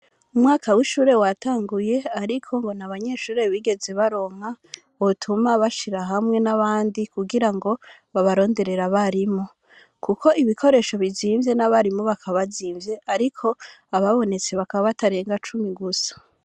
umwaka w,ishure watanguye ariko ngo n'abanyeshure bigeze baronka botuma bashira hamwe n,abandi kugira ngo babaronderere abarimu Kuko ibikoresho bizimvye n,abarimu bakaba bazimvye ariko ababonetse bakaba batatenga icumi gusa